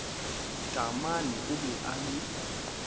taamane o be a le